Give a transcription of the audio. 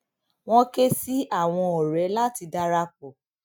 wọn ké sí àwọn ọrẹ láti dara pọ